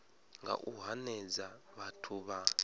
nga u hanedza vhathu vha